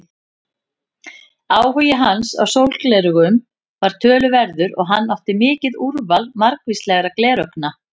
Áhugi hans á sólgleraugum var töluverður og hann átti mikið úrval margvíslegra gleraugna.